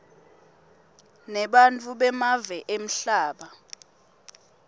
nebantfu bemave emhlaba